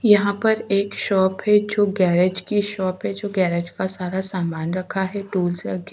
यहाँ पर एक शॉप है जो गेरेज की शॉप है जो गेरेज का सारा सामान रखा है टूल्स रखे --